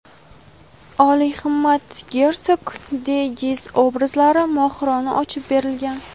olihimmat gersog de Giz obrazlari mohirona ochib berilgan.